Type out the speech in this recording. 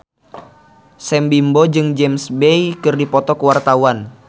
Sam Bimbo jeung James Bay keur dipoto ku wartawan